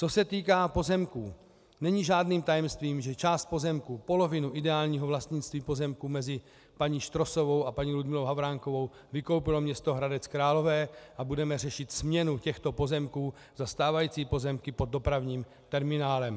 Co se týká pozemků, není žádným tajemstvím, že část pozemků, polovinu ideálního vlastnictví pozemků mezi paní Štrosovou a paní Ludmilou Havránkovou, vykoupilo město Hradec Králové a budeme řešit směnu těchto pozemků za stávající pozemky pod dopravním terminálem.